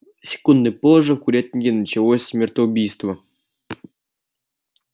секундой позже в курятнике началось смертоубийство